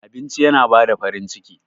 Abinci yana bada farin ciki.